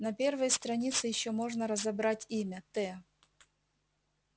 на первой странице ещё можно разобрать имя т